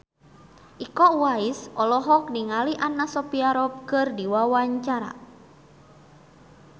Iko Uwais olohok ningali Anna Sophia Robb keur diwawancara